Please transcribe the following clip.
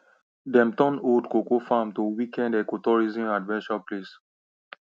dem turn old cocoa farm to weekend ecotourism adventure place